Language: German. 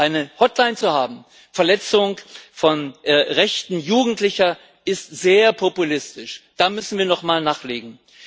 Eine Hotline für die Verletzung von Rechten Jugendlicher ist sehr populistisch, da müssen wir nochmal nachlegen.